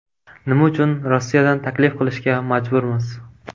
Nima uchun Rossiyadan taklif qilishga majburmiz?